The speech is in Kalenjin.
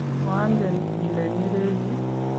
koangen ile nerechi